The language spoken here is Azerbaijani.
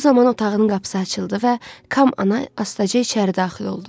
Bu zaman otağının qapısı açıldı və Kamana astaca içəri daxil oldu.